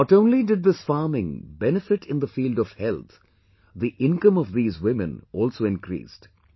Not only did this farming benefit in the field of health; the income of these women also increased